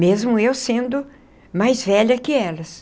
Mesmo eu sendo mais velha que elas.